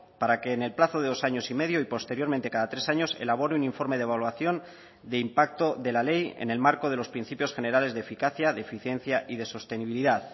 para que en el plazo de dos años y medio y posteriormente cada tres años elabore un informe de evaluación de impacto de la ley en el marco de los principios generales de eficacia de eficiencia y de sostenibilidad